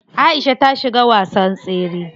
Aisha ta shiga wasan tsere.